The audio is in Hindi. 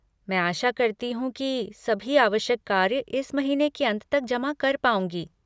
मैं आशा करती हूँ कि सभी आवश्यक कार्य इस महीने के अंत तक जमा कर पाऊँगी।